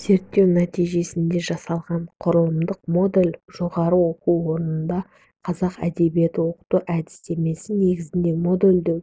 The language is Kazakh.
зерттеу нәтижесінде жасалған құрылымдық модель жоғары оқу орындарында қазақ әдебиетін оқыту әдістемесіне негізделді модельдеу